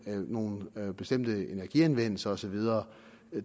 nogle bestemte energianvendelser og så videre